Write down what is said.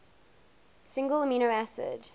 single amino acid